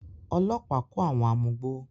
Ọlọ́pàá kó àwọn amugbó.